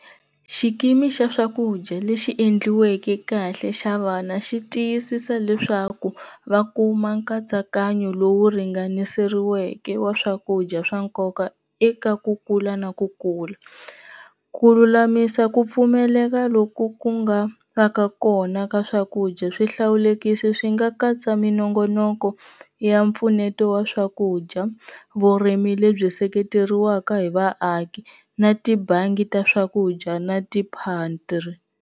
Xikimi xa swakudya lexi endliweke kahle xa vana xi tiyisisa leswaku va kuma nkatsakanyo lowu ringanerisiweke wa swakudya swa nkoka eka ku kula na ku kula, ku lulamisa ku pfumeleka loku ku nga va ka kona ka swakudya swihlawulekisi swi nga katsa minongonoko ya mpfuneto wa swakudya, vurimi lebyi seketeriweka hi vaaki na tibangi ta swakudya na ti .